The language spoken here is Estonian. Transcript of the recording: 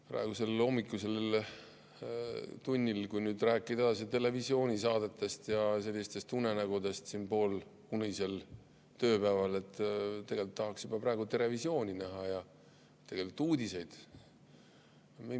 Praegusel hommikusel tunnil, kui nüüd rääkida edasi televisioonisaadetest ja unenägudest siin poolunisel tööpäeval, tegelikult tahaks juba praegu "Terevisiooni" näha ja uudiseid.